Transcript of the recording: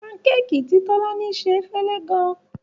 Pancake tí Tolani se fẹ́lẹ́ gan-an.